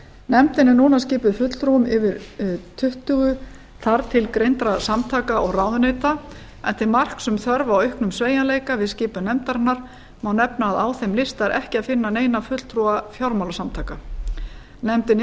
nefndin er núna skipuð fulltrúum yfir tuttugu þar til greindra samtaka og ráðuneyta en til marks um þörf á auknum sveigjanleika við skipan nefndarinnar má nefna að á þeim lista er ekki að finna neina fulltrúa fjármálasamtaka nefndin